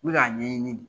N bɛ k'a ɲɛɲini